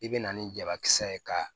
I bɛ na ni jabakisɛ ye ka